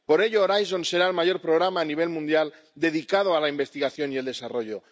Por ello, Horizonte será el mayor programa a nivel mundial dedicado a la investigación y el desarrollo.